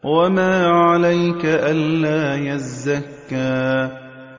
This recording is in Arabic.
وَمَا عَلَيْكَ أَلَّا يَزَّكَّىٰ